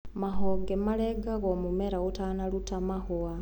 mahonge marengagwo mũmera ũtanaruta mahũa.